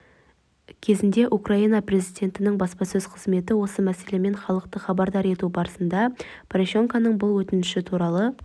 кезегінде украина президентінің баспасөз қызметі осы мәселемен халықты хабардар ету барысында порошенконың бұл өтініші туралы